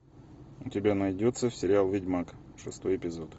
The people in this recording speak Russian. у тебя найдется сериал ведьмак шестой эпизод